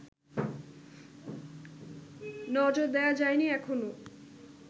নজর দেয়া যায়নি এখনও